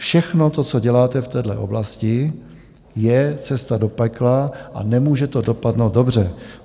Všechno to, co děláte v téhle oblasti, je cesta do pekla a nemůže to dopadnout dobře.